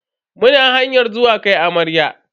Muna hanyar zuwa kai amarya.